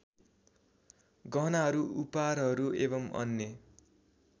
गहनाहरू उपहारहरू एवम् अन्य